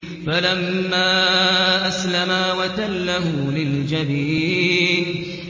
فَلَمَّا أَسْلَمَا وَتَلَّهُ لِلْجَبِينِ